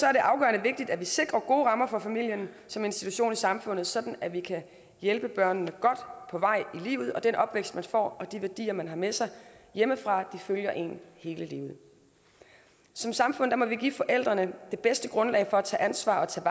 er det afgørende vigtigt at vi sikrer gode rammer for familierne som institution i samfundet sådan at vi kan hjælpe børnene godt på vej i livet og den opvækst man får og de værdier man har med sig hjemmefra følger en hele livet som samfund må vi give forældrene det bedste grundlag for at tage ansvar og tage